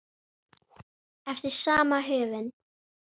eftir sama höfund